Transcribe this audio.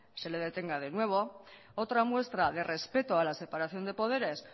se le detenga de nuevo otra muestra de respeto a la separación de poderes